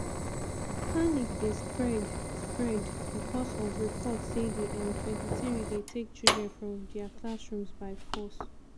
panic dey spread spread becos of reports say di m23 dey take children from dia classrooms by force.